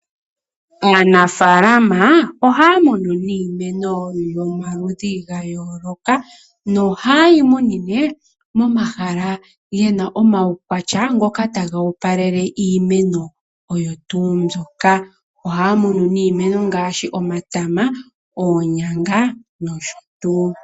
Aanafaalama ohaya munu iimeno yomaludhi ga yooloka no hayeyi munine momahala gena omaukwatya ngoka taga opalele iimeno oyo tuu mbyoka. Ohaya munu nee ngaashi omatama, oonyanga nosho tuu.